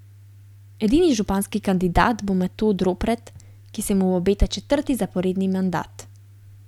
Edini županski kandidat bo Metod Ropret, ki se mu obeta četrti zaporedni mandat.